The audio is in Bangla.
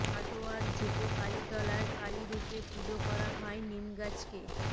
কাটোয়ার ঝুপো কালী তলায় কালী রূপে পুজো করা হয় নিমগাছকে